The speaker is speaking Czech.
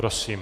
Prosím.